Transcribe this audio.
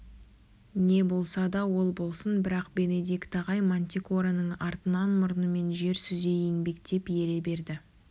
не болса ол болсын бірақ бенедикт ағай мантикораның артынан мұрнымен жер сүзе еңбектеп ере берді